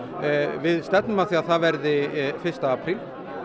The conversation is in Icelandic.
við stefnum að því að það verði fyrsta apríl